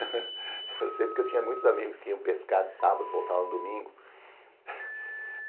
Eu sei porque eu tinha muitos amigos que iam pescar de sábado e voltavam no domingo.